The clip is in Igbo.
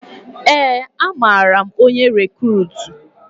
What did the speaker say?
Ee, amara m onye rikruutu